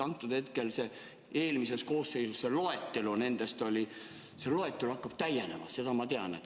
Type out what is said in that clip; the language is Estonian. Juba eelmises koosseisus loetelu nendest keeldudest oli ja see loetelu hakkab täienema, seda ma tean.